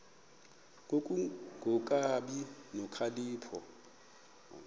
ku kungabi nokhalipho